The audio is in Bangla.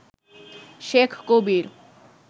শেখ কবির